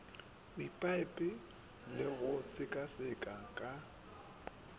kwepipe le go sekaseka ka